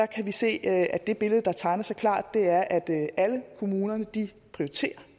kan vi se at det billede der tegner sig klart er at alle kommunerne prioriterer